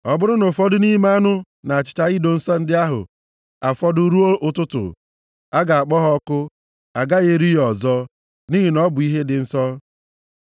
Ọ bụrụ na ụfọdụ nʼime anụ na achịcha ido nsọ ndị ahụ afọdụ ruo ụtụtụ, a ga-akpọ ha ọkụ. A gaghị eri ya ọzọ, nʼihi na ọ bụ ihe dị nsọ.